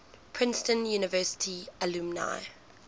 princeton university alumni